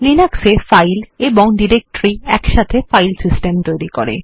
Linux এ file এবং directory একসাথে ফাইল সিস্টেম তৈরি করে